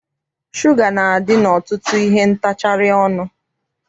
Shuga na-adị n'ọtụtụ ihe ntacharị ọnụ.